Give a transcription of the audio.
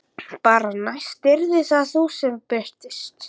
Bara að næst yrðir það þú sem birtist.